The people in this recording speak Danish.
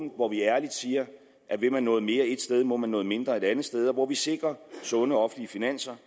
hvor vi ærligt siger at vil man noget mere et sted må man noget mindre et andet sted og hvor vi sikrer sunde offentlige finanser